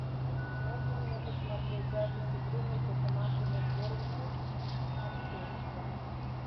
можно мне посмотреть запись игры между командами борнмут манчестер